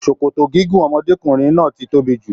Sòkòtò gígùn ọmọdékunrin náà tí tóbi jù.